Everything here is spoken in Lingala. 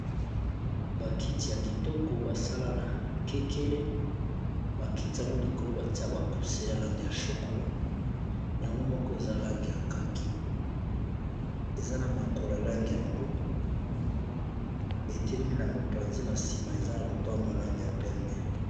Ba kiti ya kitoko basalana kekele bakiti yango likolo batia bakuse ya langi ya chokola yango moko eza langi ya kaki eza na makolo alange ya mbwe etelemi na mopanzi na sima eza na lopango langi ya pembe.